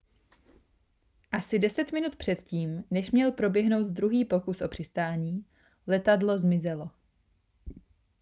asi deset minut před tím než měl proběhnout druhý pokus o přistání letadlo zmizelo